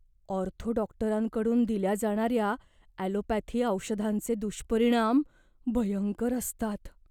Ortho डॉक्टरांकडून दिल्या जाणाऱ्या ॲलोपॅथी औषधांचे दुष्परिणाम भयंकर असतात.